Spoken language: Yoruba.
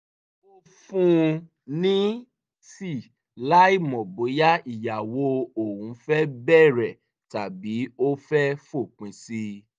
ó fún un ní tíì láìmọ̀ bóyá ìyàwó òun fẹ́ bẹ̀rẹ̀ tàbí ó fẹ́ fòpin sí i